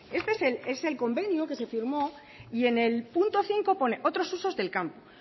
este es el convenio que se firmó y en el punto cinco pone otros usos del campo